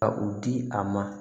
Ka u di a ma